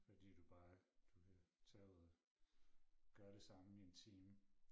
Fordi du bare du kan tage ud og gøre det samme i en time